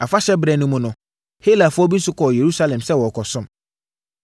Afahyɛberɛ no mu no, Helafoɔ bi nso kɔɔ Yerusalem sɛ wɔrekɔsom.